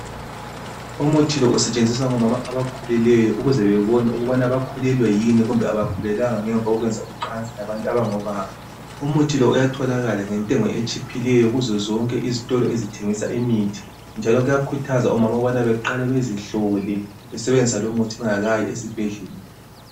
Umuthi lo usetshenziswa ngomama abakhulelweyo ukuze bebone ukubana bakhulelwe yini kumbe abakhulelwanga ngemva kokwenza ucansi labantu abangobaba. Umuthi lo uyatholakala ngentengo etshiphileyo kuzo zonke izitolo ezithengisa imithi njalo kuyakuthazwa omama ukubana beqale bezihlole besebenzisa lumuthi bengakayi esibhedlela.